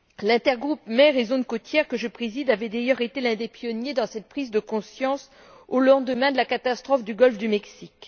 L'intergroupe Mer et zones côtières que je préside avait d'ailleurs été l'un des pionniers dans cette prise de conscience au lendemain de la catastrophe du golfe du Mexique.